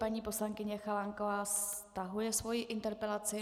Paní poslankyně Chalánková stahuje svoji interpelaci.